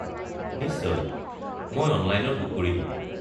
নিশ্চয়, মই অনলাইনত বুক কৰি দিম।